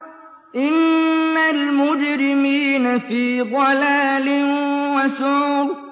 إِنَّ الْمُجْرِمِينَ فِي ضَلَالٍ وَسُعُرٍ